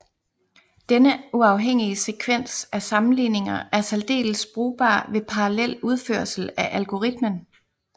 Denne uafhængige sekvens af sammenligninger er særdeles brugbar ved parallel udførsel af algoritmen